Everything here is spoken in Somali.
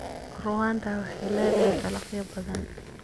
Rwanda waxay leedahay dalagyo badan.